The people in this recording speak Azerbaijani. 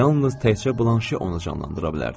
Yalnız təkcə Blanşe onu canlandıra bilərdi.